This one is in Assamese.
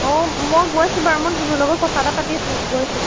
অ মই গৈছো বাৰু মই ধুনুৰ লগত কথা এটা পাতি আছো, গৈছো